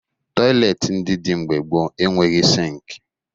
Tọyịleetị ndị dị mgbe gboo enweghi sịịnkị